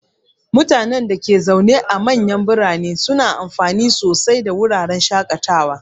Mutanen da ke zaune a manyan birane suna amfana sosai daga wuraren shakatawa.